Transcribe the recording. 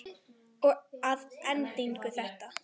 Og að endingu þetta.